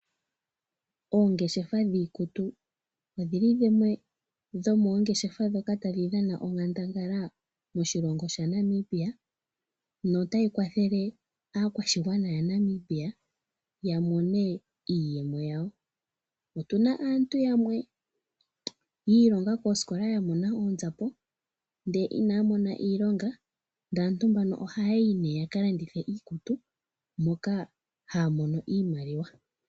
Oongeshefa dhiikutu odhili dhimwe dhomoongeshefa ndhoka tadhi dhana onkandangala moshilongo shaNamibia notayi kwathele aakwashigwana yaNamibia ya mone iiyemo yawo. Otu na aantu yamwe yiilonga koosikola ya mona oonzapo ndele inaya mona iilonga ndele aantu mbano ohaya yi nee yakalandithe iikutu moka haya mono iimaliwa.